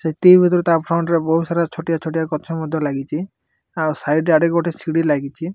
ସେତିକି ଭିତରେ ତା ଫ୍ରଣ୍ଟରେ ବୋହୁତ ସାରା ଛୋଟିଆ ଛୋଟିଆ ଗଛ ମଧ୍ୟ ଲାଗିଚି ଆଉ ସାଇଟ୍ ଆଡେ ଗୋଟେ ସିଡି ଲାଗିଚି।